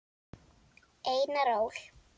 Einar Ól.